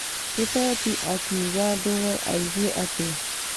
Kibet akĩuga ndũwe aigue atĩa .